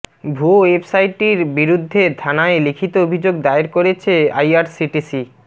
ভুয়ো ওয়েবসাইটির বিরুদ্ধে থানায় লিখিত অভিযোগ দায়ের করেছে আইআরসিটিসি